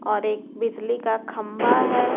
और एक बिजली का खंबा है।